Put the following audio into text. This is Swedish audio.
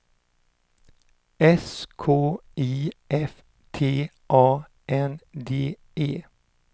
S K I F T A N D E